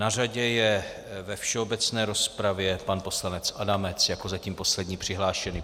Na řadě je ve všeobecné rozpravě pan poslanec Adamec jako zatím poslední přihlášený.